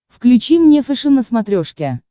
включи мне фэшен на смотрешке